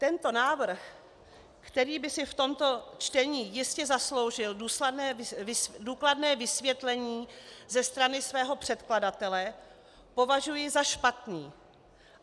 Tento návrh, který by si v tomto čtení jistě zasloužil důkladné vysvětlení ze strany svého předkladatele, považuji za špatný.